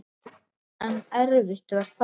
En erfitt var það.